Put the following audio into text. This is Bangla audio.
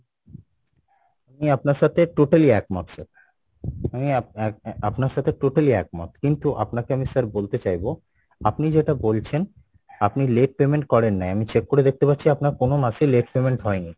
আমি আপনার সাথে totally একমত sir আমি আহ আপনার সাথে totally একমত কিন্তু আপনাকে আমি sir বলতে চাইবো আপনি যেটা বলছেন আপনি late payment করেন না আমি check করে দেখতে পাচ্ছি আপনার কোনো মাসে late payment হয়নি,